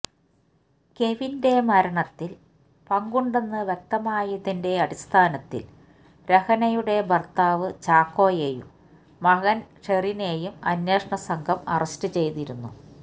കെവിന്റെ മരണത്തിൽ പങ്കുണ്ടെന്ന് വ്യക്തമായതിന്റെ അടിസ്ഥാനത്തിൽ രഹനയുടെ ഭർത്താവ് ചാക്കോയെയും മകൻ ഷെറിനെയും അന്വേഷണ സംഘം അറസ്റ്റുചെയ്തിരുന്നു